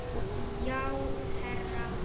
Já, herra